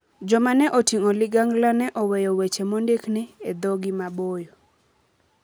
Joma ne oting'o ligangla ne oweyo weche mondik ni " e dhogi maboyo".